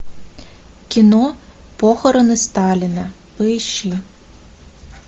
кино похороны сталина поищи